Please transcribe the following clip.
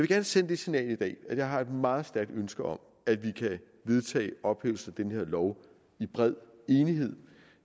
gerne sende det signal i dag at jeg har et meget stærkt ønske om at vi kan vedtage ophævelsen af den her lov i bred enighed